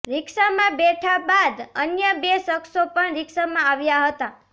રીક્ષામાં બેઠા બાદ અન્ય બે શખ્સો પણ રીક્ષામાં આવ્યા હતા